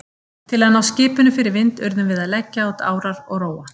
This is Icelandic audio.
Til að ná skipinu fyrir vind urðum við að leggja út árar og róa.